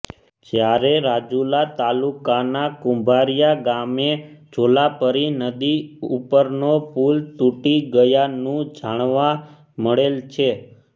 જ્યારે રાજુલા તાલુકાના કુંભારીયા ગામે જોલાપરી નદી ઉપરનો પુલ તૂટી ગયાનું જાણવા મળેલ છે